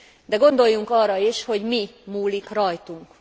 De gondoljunk arra is, hogy mi múlik rajtunk.